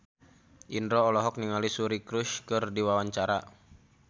Indro olohok ningali Suri Cruise keur diwawancara